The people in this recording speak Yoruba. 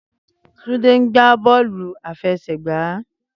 Túndé ń gbá bọ́ọ̀lù àfẹsẹ̀gba.